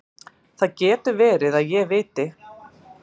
Það getur verið að ég viti.